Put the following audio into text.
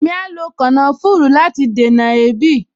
Èmi a lo kànáfùrù láti dènà èébì